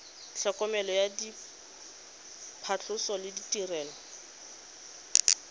tlhokomelo ya phatlhoso le ditirelo